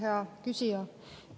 Hea küsija!